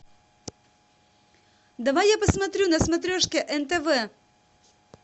давай я посмотрю на смотрешке нтв